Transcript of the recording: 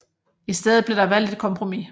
I stedet blev der valgt et kompromis